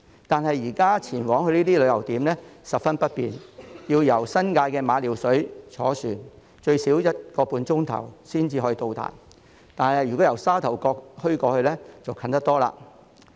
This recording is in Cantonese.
但是，現在前往這些旅遊點十分不便，要由新界的馬料水坐船最少一個半小時才能到達，但由沙頭角前往則接近得多。